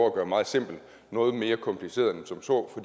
at gøre meget simpel noget mere kompliceret end som så